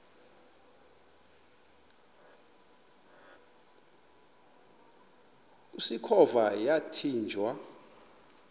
usikhova yathinjw a